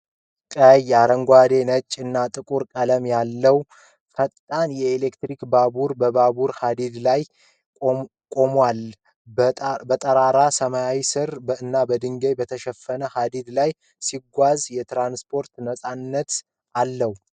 ቀይ፣ አረንጓዴ፣ ነጭ እና ጥቁር ቀለም ያለው ፈጣን የኤሌክትሪክ ባቡር በባቡር ሐዲድ ላይ ቆሞአል። በጠራራ ሰማይ ሥር እና በድንጋይ በተሸፈነ ሐዲድ ላይ ሲጓዝ የትራንስፖርት ነፃነትን አለው።